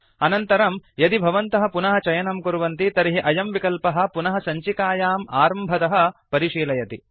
अनन्तरं यदि भवन्तः पुनः चयनं कुर्वन्ति तर्हि अयं विकल्पः पुनः सञ्चिकाम् आरम्भतः परिशीलयति